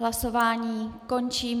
Hlasování končím.